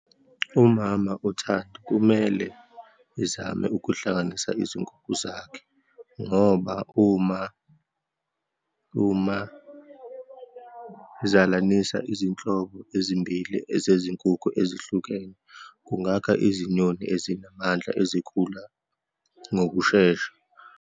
Umama uThando kumele ezame ukuhlanganisa izinkukhu zakhe, ngoba uma, uma zalanisa izinhlobo ezimbili ezezinkukhu ezihlukene, kungakha izinyoni ezinamandla ezikhula ngokushesha.